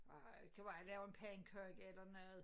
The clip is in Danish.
Ej kan være jeg laver en pandekage eller noget